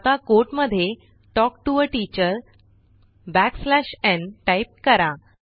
आता कोट मधे talk to a teacher backslash n type करा